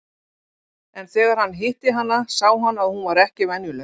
En þegar hann hitti hana sá hann að hún var ekki venjuleg.